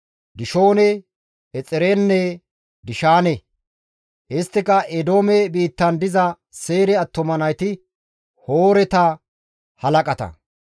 Dishoone, Exeerenne Dishaane; isttika Eedoome biittan diza Seyre attuma nayti, Hooreta halaqata.